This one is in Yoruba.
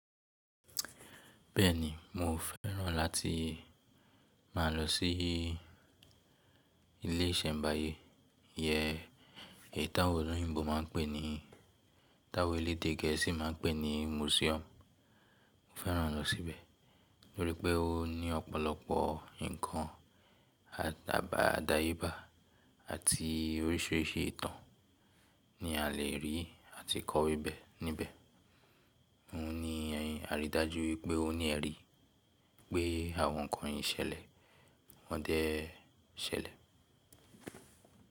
Bẹ́ẹ̀ni, mo fẹ́ràn láti má a lọ sí ilé ìsẹ̀mbáyé, yẹn èyí táwọn olóyìnbo má a ń pè ní táwọn elédè gẹ̀ẹ́sì má a ń pè ní museum. Mo fẹ́ràn lọ síbẹ̀ nítorí pé ó ní ọ̀pọ̀lọpọ̀ nǹkan àdáyebà àti oríṣìíríṣìí ìtàn ni a lè rí àti kọ́ wí bẹ́ẹ̀ níbẹ̀. Mo ní àrídájú wípé o ní ẹ rí i pé àwọn nǹkan yìí ṣẹlẹ̀, wọ́n dẹ̀ ṣẹlẹ̀.